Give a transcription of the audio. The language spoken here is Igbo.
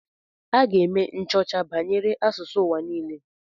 Aga m eme nchọcha banyere asụsụ ụwa niile.